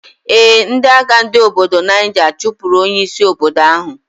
Ee, ndi agha ndi obodo Niger chupur onye isi obodo ahu.